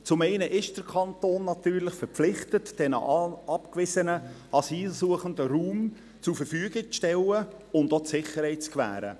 Zum einen ist der Kanton natürlich verpflichtet, den abgewiesenen Asylsuchenden Raum zur Verfügung zu stellen und auch die Sicherheit zu gewährleisten.